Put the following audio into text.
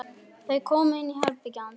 Þau koma inn í herbergið hans.